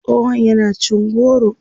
tsohon yana cin goro